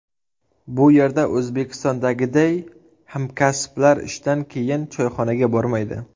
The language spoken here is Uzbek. Bu yerda O‘zbekistondagiday hamkasblar ishdan keyin choyxonaga bormaydi.